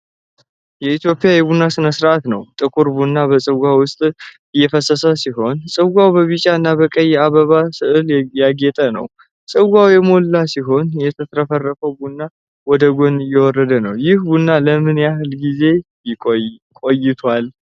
የኢትዮጵያ የቡና ሥነ ሥርዓት ነው። ጥቁር ቡና በጽዋ ውስጥ እየፈሰሰ ሲሆን፣ ጽዋው በቢጫ እና ቀይ የአበባ ሥዕሎች ያጌጠ ነው። ጽዋው የሞላ ሲሆን፣ የተትረፈረፈው ቡና ወደ ጎን እየወረደ ነው። ይህ ቡና ለምን ያህል ጊዜ ተቆይቷል?